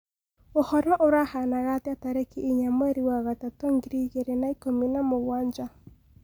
uhoro urahanaga atĩa tarĩkĩ ĩnya mwerĩ wa gatatu ngiriĩgĩrĩ na ĩkũmĩ na mũgwanja